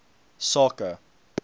sake